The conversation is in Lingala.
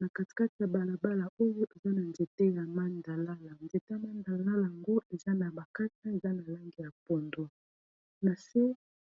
na kati kati ya balabala oyo eza na nzete ya mandalala nzete mandala lango eza na bakata eza na lange ya pondwa na se